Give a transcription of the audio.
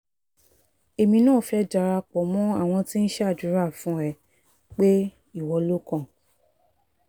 èmi náà fẹ́ darapọ̀ mọ́ àwọn tí ń ṣàdúrà fún ẹ pé ìwọ lo kàn